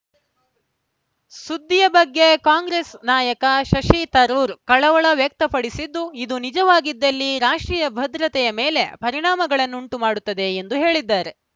ಸುದ್ದಿಯ ಬಗ್ಗೆ ಕಾಂಗ್ರೆಸ್‌ ನಾಯಕ ಶಶಿ ತರೂರ್‌ ಕಳವಳ ವ್ಯಕ್ತಪಡಿಸಿದ್ದು ಇದು ನಿಜವಾಗಿದ್ದಲ್ಲಿ ರಾಷ್ಟ್ರೀಯ ಭದ್ರತೆಯ ಮೇಲೆ ಪರಿಣಾಮಗಳನ್ನುಂಟು ಮಾಡುತ್ತದೆ ಎಂದು ಹೇಳಿದ್ದಾರೆ